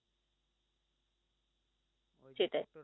সেটাই